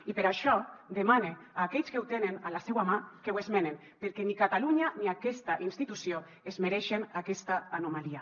i per això demane a aquells que ho tenen a la seua mà que ho esmenen perquè ni catalunya ni aquesta institució es mereixen aquesta anomalia